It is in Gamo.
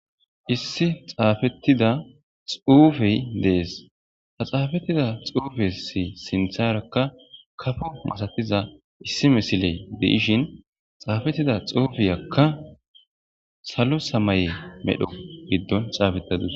Issi xafetidda xufeyi deyesi, ha xafetidda xufezi sintharakka ossetida issi misileyi beyishin xafetidda xufeyikka salo sammaye gidoni.